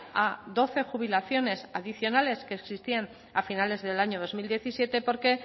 a doce jubilaciones adicionales que existían a finales del año dos mil diecisiete porque